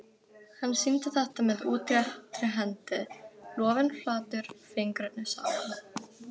Hann sýndi þetta með útréttri hendi, lófinn flatur, fingurnir saman.